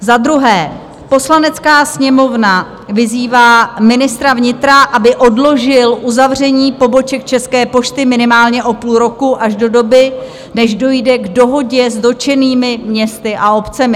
Za druhé, Poslanecká sněmovna vyzývá ministra vnitra, aby odložil uzavření poboček České pošty minimálně o půl roku, až do doby, než dojde k dohodě s dotčenými městy a obcemi.